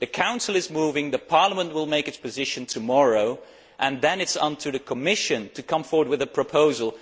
The Council is moving, Parliament will set out its position tomorrow, and then it is up to the Commission to come forward with a proposal.